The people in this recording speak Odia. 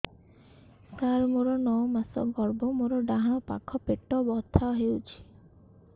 ସାର ମୋର ନଅ ମାସ ଗର୍ଭ ମୋର ଡାହାଣ ପାଖ ପେଟ ବଥା ହେଉଛି